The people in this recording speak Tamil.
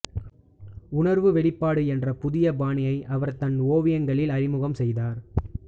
உணர்வு வெளிப்பாடு என்ற புதியபாணியை அவர் தன் ஓவியங்களில் அறிமுகம் செய்தார்